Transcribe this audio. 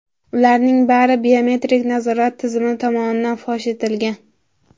Ularning bari biometrik nazorat tizimi tomonidan fosh etilgan.